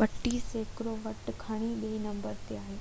32 سيڪڙو ووٽ کڻي ٻئي نمبر تي آيو